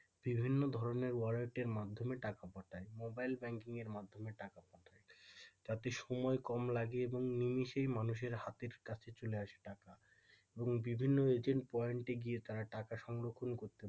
বিভিন্ন ধরণের wallet এর মাধ্যমে টাকা পাঠায় মোবাইল ব্যাংকিং এর মাধ্যমে টাকা পাঠায় তাতে সময় কম লাগে এবং নিমিষের মানুষের হাতে চলে আসে টাকা এবং বিভিন্ন রকমের agent point গিয়ে তারা টাকা সংরক্ষণ করতে পারে।